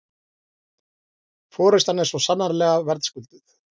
Forystan er svo sannarlega verðskulduð